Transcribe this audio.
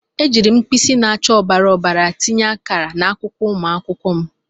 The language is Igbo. Ejiiri m mkpịsị na-acha ọbara ọbara tinye akara n'akwụkwọ ụmụ akwụkwọ m.